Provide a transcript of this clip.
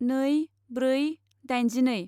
नै ब्रै दाइनजिनै